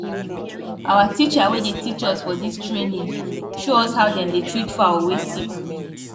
our teacher wey dey teach us for dis training show us how dem dey treat fowl wey sick